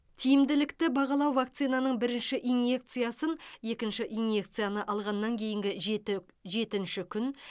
тиімділікті бағалау вакцинаның бірінші инъекциясын екінші инъекцияны алғаннан кейінгі жеті жетінші күн